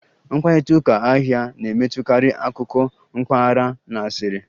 Mkparịta ụka ahịa na-emetụtakarị akụkọ mpaghara na asịrị